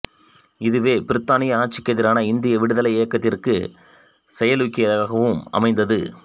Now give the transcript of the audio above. இதுவே பிரித்தானிய ஆட்சிக்கெதிரான இந்திய விடுதலை இயக்கத்திற்கு செயலூக்கியாகவும் அமைந்தது